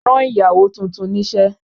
Rán ìyàwó tuntun níṣẹ́!